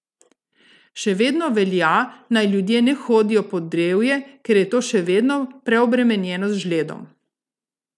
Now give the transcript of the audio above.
Še vedno velja, naj ljudje ne hodijo pod drevje, ker je to še vedno preobremenjeno z žledom.